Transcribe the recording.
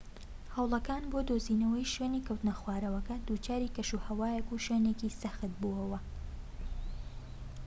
هەوڵەکان بۆ دۆزینەوەی شوێنی کەوتنەخوارەوەکە دووچاری کەشوهەوایەك و شوێنێکی سەخت بۆوە